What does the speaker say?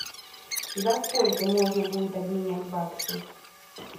за сколько можно будет обменять баксы